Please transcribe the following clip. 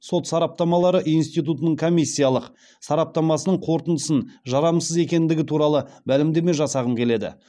сот сараптамалары институтының комиссиялық сараптамасының қорытындысын жарамсыз екендігі туралы мәлімдеме жасағым келеді